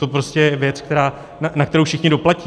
To prostě je věc, na kterou všichni doplatí.